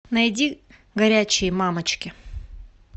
найди горячие мамочки